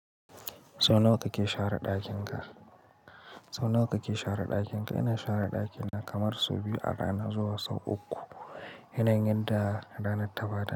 Sau nawa kake share ɗakin ka? Sau nawa kake share ɗakin ka? Ina share ɗakina kamar sau biyu a rana zuwa sau uku, yanayin yanda ranar ta ba da.